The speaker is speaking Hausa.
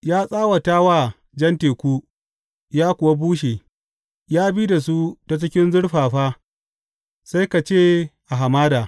Ya tsawata wa Jan Teku, ya kuwa bushe; ya bi da su ta cikin zurfafa sai ka ce a hamada.